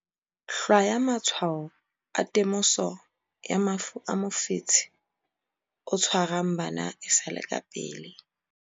Hlwaya matshwao a temoso ya mafu a mofetshe o tshwarang bana e sa le ka pele